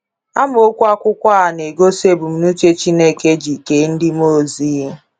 Amokwu akwụkwọ a na-egosi ebumnuche Chineke ji kee ndị mmụọ ozi.